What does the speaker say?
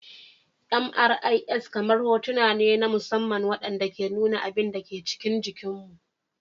MRIs kamar hotuna ne na musamman waɗanda ke nuna abin da ke cikin jikinmu.